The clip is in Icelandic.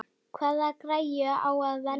Hvaða græju á að velja?